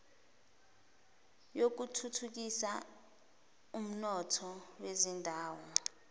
yokuthuthukisa umnotho wezindawo